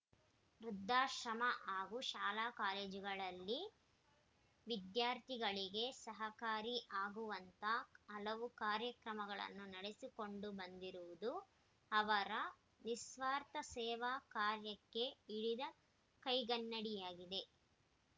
ವೃದ್ಧಾಶ್ರಮ ಹಾಗೂ ಶಾಲಾ ಕಾಲೇಜುಗಳಲ್ಲಿ ವಿದ್ಯಾರ್ಥಿಗಳಿಗೆ ಸಹಕಾರಿ ಆಗುವಂತ ಹಲವು ಕಾರ್ಯಗಳನ್ನು ನಡೆಸಿಕೊಂಡು ಬಂದಿರುವುದು ಅವರ ನಿಸ್ವಾರ್ಥ ಸೇವಾ ಕಾರ್ಯಕ್ಕೆ ಹಿಡಿದ ಕೈಗನ್ನಡಿಯಾಗಿದೆ